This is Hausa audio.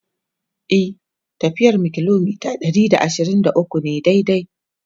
e tafiyar mu kilometa Ɗari da ashirin da ukwu ne daidai